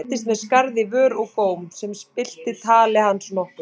Hann fæddist með skarð í vör og góm sem spillti tali hans nokkuð.